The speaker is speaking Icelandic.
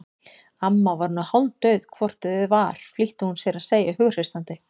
Amma var nú hálfdauð hvort eð var flýtti hún sér að segja hughreystandi.